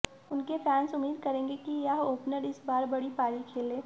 उनके फैंस उम्मीद करेंगे कि यह ओपनर इस बार बड़ी पारी खेले